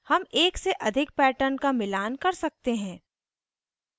हम एक से अधिक patterns का मिलान कर सकते हैं